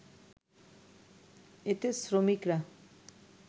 এতে শ্রমিকরা